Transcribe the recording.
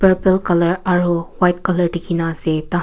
purple colour aru white colour dikhi na ase tai khan.